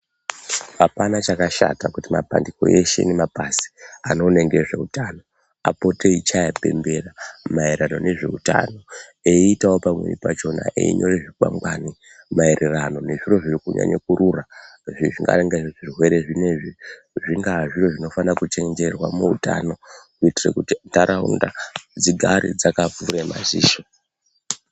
Hapana chakashata kuti mapandiku eshe nemabazi anoone ngezveutano apote eyichaya pembera mayerana nezveutano eyitawo pamweni pachona eyinyore zvikwangwari maererano nezviro zvinonyanye kurura zvinga zvirwere zvinenzvi zvingaa zviro zvinofana kuchenjerwa muutano kuitire kuti ndaraunda dzigare dzaka gwinya maziso..